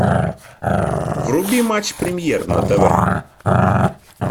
вруби матч премьер на тв